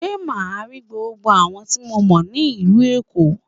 Ṣé màá rí gbogbo àwọn tí mo mọ̀ ní ìlú Èkó?